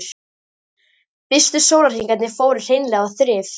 Fyrstu sólarhringarnir fóru hreinlega í þrif.